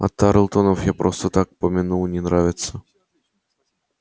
а тарлтонов я просто так помянул не нравятся